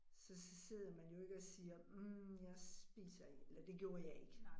Så så sidder man jo ikke og siger hm jeg spiser ikke, eller det gjorde jeg ikke